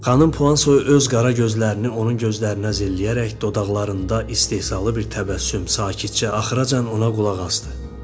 Xanım Puan Soyu öz qara gözlərini onun gözlərinə zilləyərək dodaqlarında istehzalı bir təbəssüm sakitcə axıracan ona qulaq asdı.